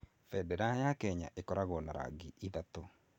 Bendera ya Kenya ĩkoragwo na rangi ithatũ.